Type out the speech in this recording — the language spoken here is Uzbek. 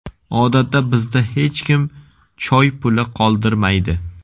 Odatda bizda hech kim choypuli qoldirmaydi.